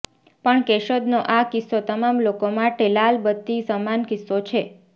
પણ કેશોદનો આ કિસ્સો તમામ લોકો માટે લાલબત્તી સમાન કિસ્સો છે